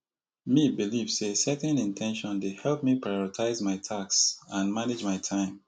me believe say setting in ten tion dey help me prioritize my tasks and manage my time